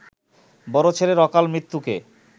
বড় ছেলের অকাল মৃত্যুকে